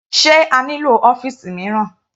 Sé a nílò ọ́fìsì mìíràn?